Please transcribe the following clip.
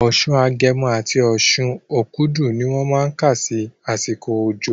Oṣù Agẹmọ àti oṣù Okúdù ni wọ́n má kà sí àsìkò òjò